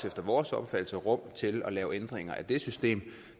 vores opfattelse også rum til at lave ændringer i det system